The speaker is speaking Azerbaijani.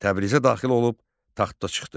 Təbrizə daxil olub taxta çıxdı.